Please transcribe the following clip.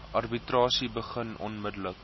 arbitrasie begin onmiddellik